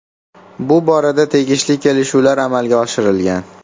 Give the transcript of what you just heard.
Bu borada tegishli kelishuvlar amalga oshirilgan.